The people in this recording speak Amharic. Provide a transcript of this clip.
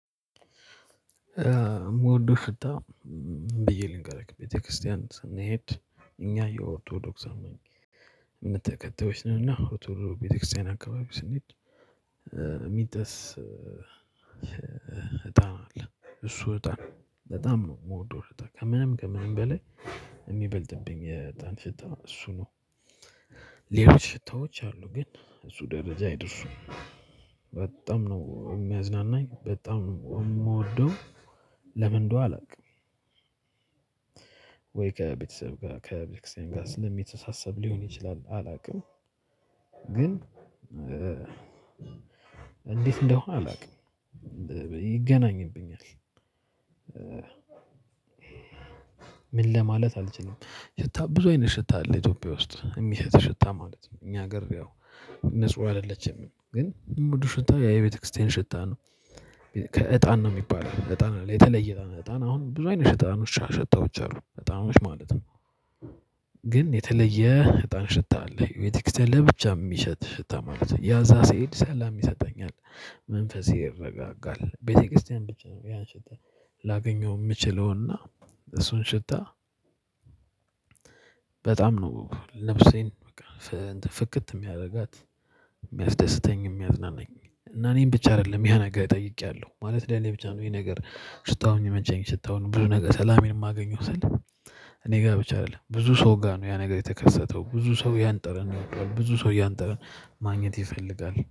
ምወዶ ሽታ ምን ብዬ ልንገርክ ቤተክርስቲያን ስንሄድ እኛ የኦርቶዶክስ አማኝ። እምነት ተከታዮች ነንና ቤተክርስቲያን አካባቢ ስንሄድ። የሚጠስ እጣን አለ እሱ እጣን ነው በጣም ነው የምወደው እጣን ከምንም ከምንም በላይ የሚበልጥብኝ የጣን ሽታ እሱ ነው። ሌሎች ሽታዎች አሉ ግን እሱ ደረጃ አይደርሱም። በጣም ነው እሚያዝናናኝ በጣም ነው እምወደው ለምን እንደሁ አላቅም። ወይ ከቤተሰብ ጋር ከቤተክርስቲያን ጋር ስለሚተሳሰር ሊሆን ይችላል አላውቅም። ግን እንዴት እንደሆነ አላውቅም ይገናኝብኛል። ምን ለማለት አልችልም። ሽታ ብዙ አይነት ሽታ አለ ኢትዮጵያ ውስጥ የሚሸት ሽታ ማለት ነው። እኛ ሀገር ያው ንጹህ አይደለችም ግን እምወደው ሽታ ያ የቤተክርስቲያን ሽታ ነው። ከእጣን ነው የሚባለው እጣን አለ የተለየ እጣን ነው እጣን አሁን ብዙ አይነት እጣኖች ሸታዎች አሉ እጣኖች ማለት ነው። ግን የተለየ እጣን ሽታ አለ የቤተክርስቲያን ለብቻ ሚሸት ሽታ ማለት ነው ያ እዛ ስሄድ ሰላም ይሰጠኛል። መንፈሴ ይረጋጋል ቤተክርስቲያን ብቻ ነው ያን ሽታ ላገኘው እምችለውና። እሱን ሽታ። በጣም ነው ነፍሴን ፍክት የሚያደርጋት እሚያስደስተኝ እሚያዝናናኝ። እና እኔን ብቻ አይደለም ያነገር ጠይቄያለሁ ማለት ለኔ ብቻ ነው። ይሄ ነገር ሽታው እሚመቸኝ ሽታውን ብዙ ነገር ሰላሜን እማገኘው ስል እኔ ጋር ብቻ አይደለም ብዙ ሰው ጋር ነው ያ ነገር የተከሰተው። ብዙ ሰው ያንጠረን ይወደዋል። ብዙ ሰው ያንጠረን ማግኘት ይፈልጋል